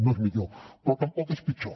no és millor però tampoc és pitjor